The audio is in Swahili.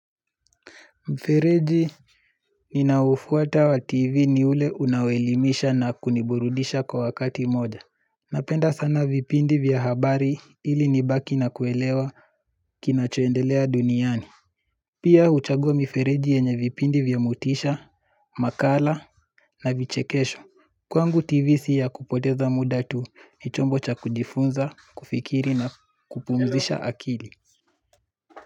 Mfereji ninaoufuata wa tv ni ule unaoelimisha na kuniburudisha kwa wakati moja Napenda sana vipindi vya habari ili nibaki na kuelewa kinachoendelea duniani Pia huchagua mifereji yenye vipindi vya motisha, makala na vichekesho Kwangu tv si ya kupoteza muda tu ni chombo cha kujifunza, kufikiri na kupumzisha akili.